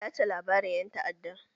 Tace labarin ƴan ta'adda!